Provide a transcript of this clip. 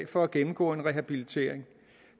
for at gennemgå en rehabilitering